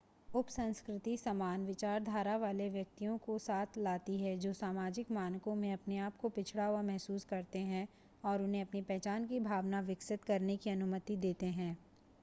उपसंस्कृति समान विचारधारा वाले व्यक्तियों को साथ लाती है जो सामाजिक मानकों में अपने आप को पिछड़ा हुआ महसूस करते हैं और उन्हें अपनी पहचान की भावना विकसित करने की अनुमति देते हैं